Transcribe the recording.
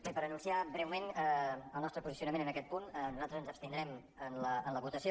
bé per anunciar breument el nostre posicio·nament en aquest punt nosaltres ens abstindrem en la votació